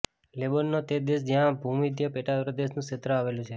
Lebanon તે દેશ છે જ્યાં ભૂમધ્ય પેટાપ્રદેશનું ક્ષેત્ર આવેલું છે